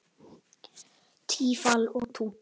Tífall og Tútur